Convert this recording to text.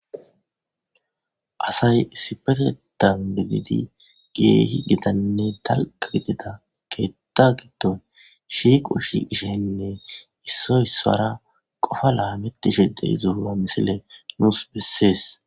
Assay issipeteththan gididi kehi giitane dalga gidida keeththa gidonn shiqo ahiqishshen qofa lametishshe dizayissa ha missilez besses